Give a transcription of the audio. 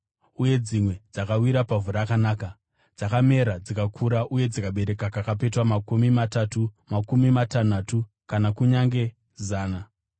Uye dzimwe dzakawira pavhu rakanaka. Dzakamera dzikakura uye dzikabereka kakapetwa makumi matatu, makumi matanhatu, kana kunyange zana.”